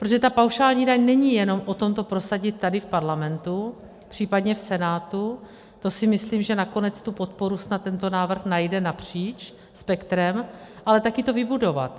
Protože ta paušální daň není jenom o tom to prosadit tady v parlamentu, případně v Senátu, to si myslím, že nakonec tu podporu snad tento návrh najde napříč spektrem, ale také to vybudovat.